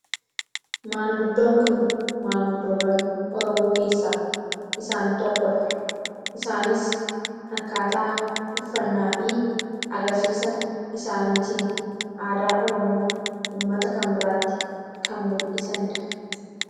maanguddoon kun maanguddoowwan oromoo keessaa isaan tokkodha. isaanis akkaataa uffannaa fi agarsiisa isaaniitiin aadaa oromoo ummata kan biraatti kan muldhisaniidha.